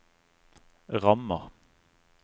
rammer